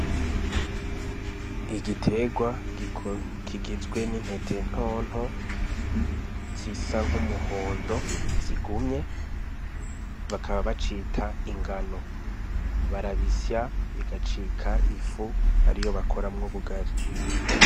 Igitegwa kigizwe n'intete ntonto zisa nk'umuhondo zigumye, bakaba bacita ingano, barabisya bigacika ifu ariyo bakoramwo ubugari.